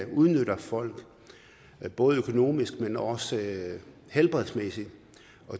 udnytter folk både økonomisk men også helbredsmæssigt